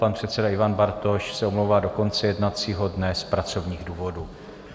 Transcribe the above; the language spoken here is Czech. Pan předseda Ivan Bartoš se omlouvá do konce jednacího dne z pracovních důvodů.